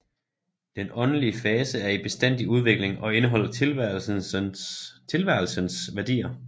Den åndelige fase er i bestandig udvikling og indeholder tilværelsens værdier